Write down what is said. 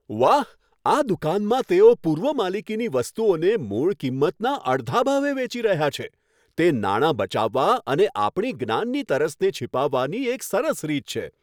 વાહ! આ દુકાનમાં તેઓ પૂર્વ માલિકીની વસ્તુઓને મૂળ કિંમતના અડધા ભાવે વેચી રહ્યા છે. તે નાણાં બચાવવા અને આપણી જ્ઞાનની તરસને છીપાવવાની એક સરસ રીત છે.